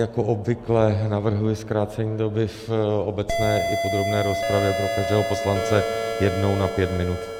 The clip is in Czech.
Jako obvykle navrhuji zkrácení doby v obecné i podrobné rozpravě pro každého poslance jednou na pět minut.